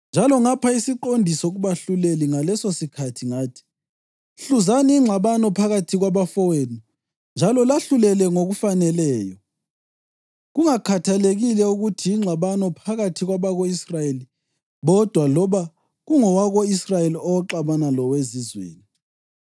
Njalo ngapha isiqondiso kubahluleli ngalesosikhathi ngathi: ‘Hluzani ingxabano phakathi kwabafowenu njalo lahlulele ngokufaneleyo, kungakhathalekile ukuthi yingxabano phakathi kwabako-Israyeli bodwa loba kungowako-Israyeli oxabana lowezizweni.